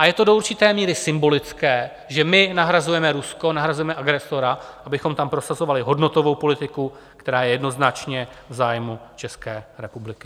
A je to do určité míry symbolické, že my nahrazujeme Rusko, nahrazujeme agresora, abychom tam prosazovali hodnotovou politiku, která je jednoznačně v zájmu České republiky.